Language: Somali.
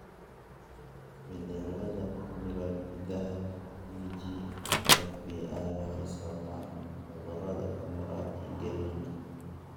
Isbeddellada ku jira hiddaha TGFB1 waxay sababaan cudurka Camurati Engelmanka